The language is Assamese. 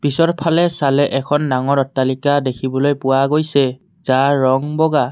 পিছৰফালে চালে এখন ডাঙৰ অট্টালিকা দেখিবলৈ পোৱা গৈছে যাৰ ৰং বগা।